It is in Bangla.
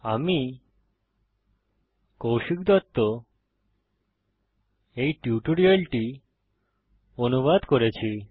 আমি কৌশিক দত্ত এই টিউটোরিয়ালটি অনুবাদ করেছি